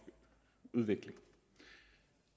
udvikling